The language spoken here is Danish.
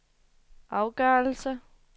afgørelse